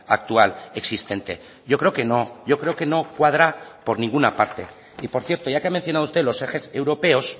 actual existente yo creo que no yo creo que no cuadra por ninguna parte y por cierto ya que ha mencionado usted los ejes europeos